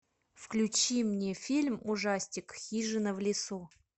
включи мне фильм ужастик хижина в лесу